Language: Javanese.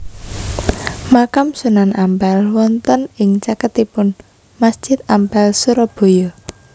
Makam Sunan Ampel wonten ing caketipun Masjid Ampel Surabaya